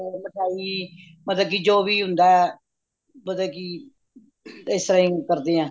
ਮਤਲਬ ਮਿਠਾਈ ਮਤਲਬ ਕੀ ਜੋ ਵੀ ਹੁੰਦਾ ਏ ਪਤਾ ਕੀ ਇਸ ਤਰ੍ਹਾਂ ਹੀ ਕਰਦੇ ਹਾਂ